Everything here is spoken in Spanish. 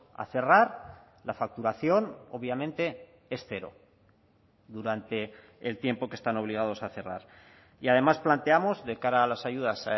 a cerrar la facturación obviamente es cero durante el tiempo que están obligados a cerrar y además planteamos de cara a las ayudas